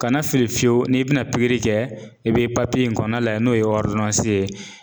Kana fili fiyewu n'i bi na pikiri kɛ i be in kɔɔna layɛ n'o ye ye